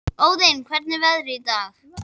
Óðinn, hvernig er veðrið í dag?